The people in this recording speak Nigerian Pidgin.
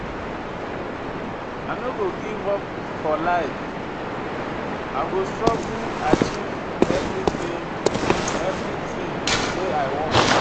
I no go give up for life, I go struggle achieve everytin wey I want.